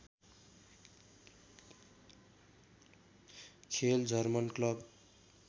खेल German club